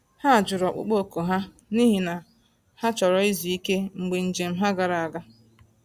Ha jụrụ ọkpụkpọ oku ha, n’ihi na ha chọrọ izu ike mgbe njem ha gara aga.